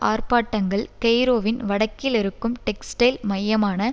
ஆர்ப்பாட்டங்கள் கெய்ரோவின் வடக்கிலிருக்கும் டெக்ஸ்டைல் மையமான